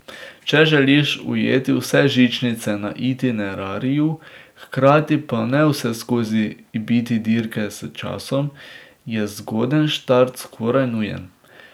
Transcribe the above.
Če želiš ujeti vse žičnice na itinerariju, hkrati pa ne vseskozi biti dirke s časom, je zgoden štart skoraj nujen.